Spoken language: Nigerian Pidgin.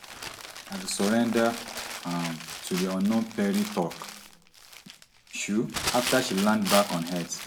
na to surrender um to di unknown perry tok um afta she land back on earth